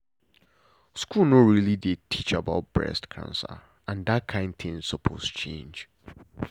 school no really dey teach about breast cancer and that kain thing suppose change.